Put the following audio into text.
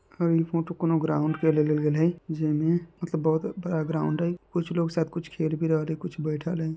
--और ई फोटो कुनू ग्राउन्ड के ले गेल है जिनमे मतलब बहुत बड़ा ग्राउन्ड है कुछ लोग सब शायद कुछ खेल भी रहल है कुछ बैठल है।